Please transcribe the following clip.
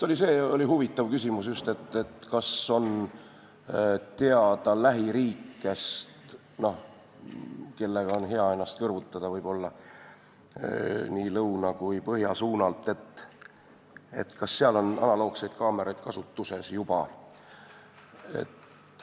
See oli huvitav küsimus, kas on teada lähiriikidest, nii lõuna kui ka põhja suunalt, kellega on hea ennast kõrvutada, kas seal on juba analoogseid kaameraid kasutuses.